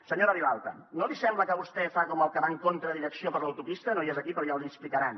senyora vilalta no li sembla que vostè fa com el que va contra direcció per l’autopista no hi és aquí però ja l’hi explicaran